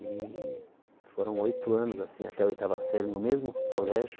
E foram oito anos, assim, até o oitava série, no mesmo colégio,